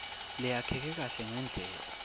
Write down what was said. leyakheke kahle ngendlela